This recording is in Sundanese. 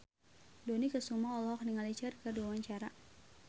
Dony Kesuma olohok ningali Cher keur diwawancara